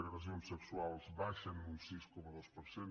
agressions sexuals baixen un sis coma dos per cent